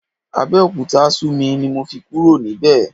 Abẹ́òkúta sú mi ni mo fi kúrò níbẹ̀.